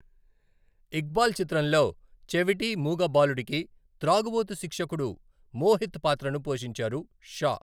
ఇక్బాల్ చిత్రంలో చెవిటి, మూగ బాలుడికి త్రాగుబోతు శిక్షకుడు మోహిత్ పాత్రను పోషించారు షా.